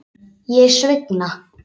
Ég svigna.